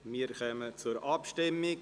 Wir kommen zur Abstimmung.